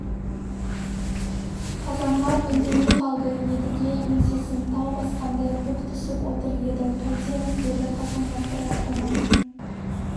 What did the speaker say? қазанғап үндемей қалды едіге еңсесін тау басқандай бүк түсіп отыр енді қайтеміз деді қазанғап бірақ оған